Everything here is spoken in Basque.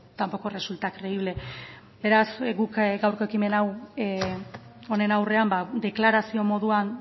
tampoco resulta creíble beraz guk gaurko ekimen hau honen aurrean deklarazio moduan